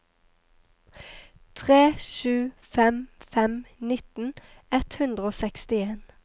tre sju fem fem nitten ett hundre og sekstien